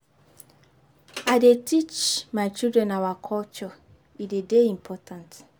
I dey teach my children our culture, e dey dey important.